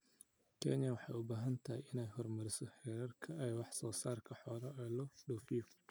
Kenya waxay u baahan tahay inay horumariso heerarka wax soo saarka xoolaha ee loo dhoofiyo.